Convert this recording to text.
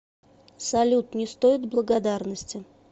салют не стоит благодарности